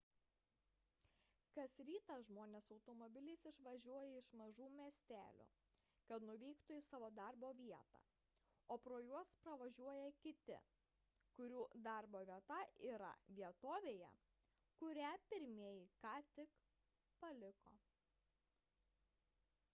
kas rytą žmonės automobiliais išvažiuoja iš mažų miestelių kad nuvyktų į savo darbo vietą o pro juos pravažiuoja kiti kurių darbo vieta yra vietovėje kurią pirmieji ką tik paliko